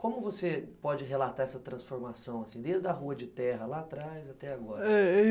Como você pode relatar essa transformação assim, desde a rua de terra lá atrás até agora?